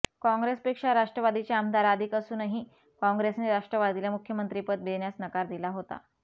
काँग्रेसपेक्षा राष्ट्रवादीचे आमदार अधिक असूनही काँग्रेसने राष्ट्रवादीला मुख्यमंत्रीपद देण्यास नकार दिला होता